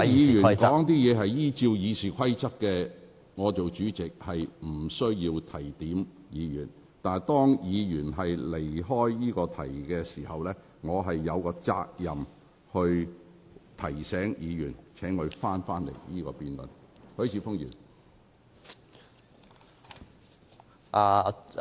如果議員依照《議事規則》發言，我無須提點議員，但當議員離題時，我身為主席便有責任提醒議員須針對議題發言。